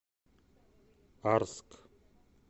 арск